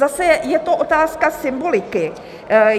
Zase je to otázka symboliky.